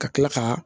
Ka kila ka